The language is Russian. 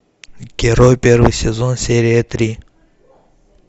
герой первый сезон серия три